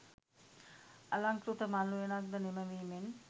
අලංකෘත මල් උයනක් ද නිම වීමෙන්